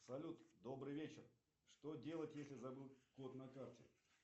салют добрый вечер что делать если забыл код на карте